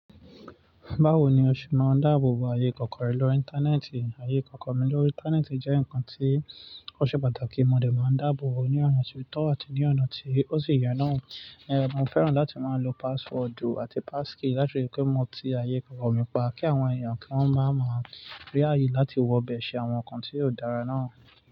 Báwo ni o ṣe máa ń dáàbò bo ayé kọ̀ọ̀kan rẹ lórí Íńtánẹ́ẹ̀tì? Ayé ìkọ̀kọ̀ mi lórí Íńtánẹ́ẹ̀tì jẹ́ nǹkan tí ó ṣe pàtàkì kí mo lè máa ń dáàbò bo ní ọ̀nà tí tọ́ àti ní ọ̀nà tí ó sì yẹ náà. Ẹ̀, mo fẹ́ràn láti máa lo passwordu àti passkey láti ríi pé mo ti ayé ìkọ̀kọ̀ mi pa, kí àwọn èèyàn kí wọ́n máa ma rí ààyè láti wọ bẹ̀ ṣe àwọn nǹkan tí ò dára náà.